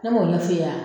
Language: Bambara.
Ne m'o ɲɛ f'i ye